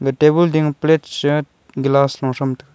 ga tabon ding ma plate che glass lo chm taga.